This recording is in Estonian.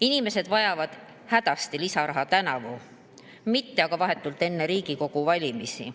Inimesed vajavad hädasti lisaraha tänavu, mitte aga vahetult enne Riigikogu valimisi.